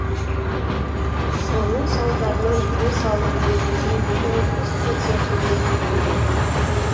соның салдарынан тыныс алу жиілігі отыз процентке дейін төмендейді